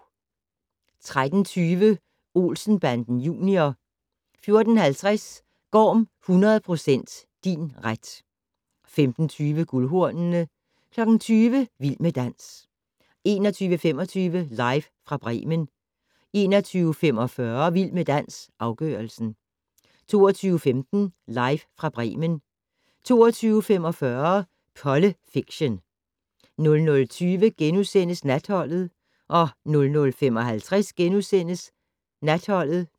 13:20: Olsen Banden Junior 14:50: Gorm 100% din ret 15:20: Guldhornene 20:00: Vild med dans 21:25: Live fra Bremen 21:45: Vild med dans - afgørelsen 22:15: Live fra Bremen 22:45: Polle Fiction 00:20: Natholdet * 00:55: Natholdet *